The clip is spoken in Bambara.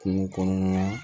Kungo kɔnɔna na